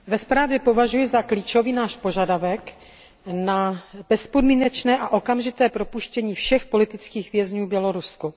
Paní předsedající, ve zprávě považuji za klíčový náš požadavek na bezpodmínečné a okamžité propuštění všech politických vězňů v Bělorusku.